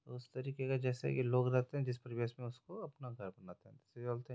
उस तरीके का जैसे की लोग रहते हे जिस परिवेश में उसको अपना घर बना--